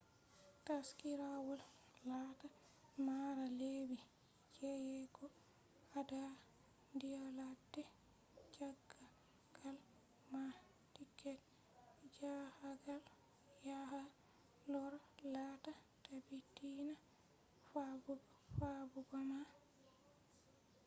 taskirawol laata mara lebbi jeyego gaada nyalade njahagal ma.tiket njahagal yaha loora laata taabitiinaa fabbugoma